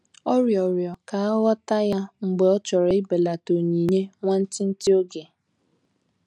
Ọ riọrọ ka aghọta ya mgbe ọ chọrọ ibelata onyinye nwantịtị oge.